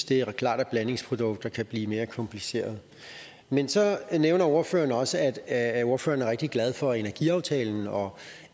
det er da klart at blandingsprodukter kan blive mere komplicerede man så nævner ordføreren også at at ordføreren er rigtig glad for energiaftalen og